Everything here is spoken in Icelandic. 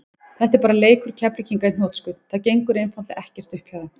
Þetta er bara leikur Keflvíkinga í hnotskurn, það gengur einfaldlega ekkert upp hjá þeim.